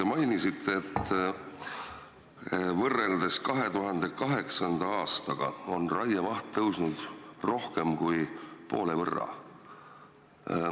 Te mainisite, et võrreldes 2008. aastaga on raiemaht kasvanud rohkem kui poole võrra.